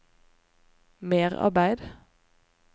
merarbeid